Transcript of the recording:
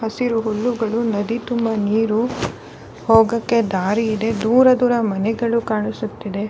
ಹಸಿರು ಹುಲ್ಲುಗಳು ನದಿ ತುಂಬಾ ನೀರು ಹೋಗೋಕೆ ದಾರಿ ಇದೆ ದೂರ ದೂರ ಮನೆಗಳು ಕಾಣಿಸುತ್ತಿದೆ.